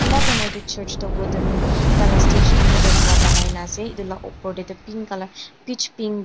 itu church Tu wooden taila stage tu wooden ba banai na ase itu la opor tey ti pink colour peach pink pa --